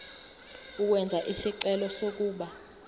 ukwenza isicelo sokuba